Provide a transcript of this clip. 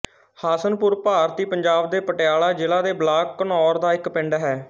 ਹਸਨਪੁਰ ਭਾਰਤੀ ਪੰਜਾਬ ਦੇ ਪਟਿਆਲਾ ਜ਼ਿਲ੍ਹੇ ਦੇ ਬਲਾਕ ਘਨੌਰ ਦਾ ਇੱਕ ਪਿੰਡ ਹੈ